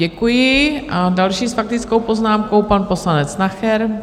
Děkuji a další s faktickou poznámkou pan poslanec Nacher.